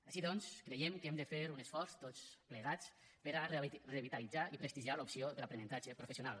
així doncs creiem que hem de fer un esforç tots plegats per a revitalitzar i prestigiar l’opció de l’aprenentatge professional